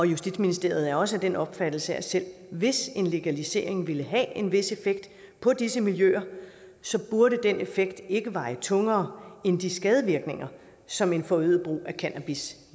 justitsministeriet er også af den opfattelse at selv hvis en legalisering ville have en vis effekt på disse miljøer burde den effekt ikke veje tungere end de skadevirkninger som en forøget brug af cannabis